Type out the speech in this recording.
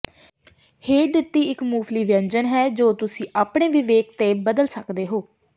ਹੇਠ ਦਿੱਤੀ ਇੱਕ ਮੁੱਢਲੀ ਵਿਅੰਜਨ ਹੈ ਜੋ ਤੁਸੀਂ ਆਪਣੇ ਵਿਵੇਕ ਤੇ ਬਦਲ ਸਕਦੇ ਹੋ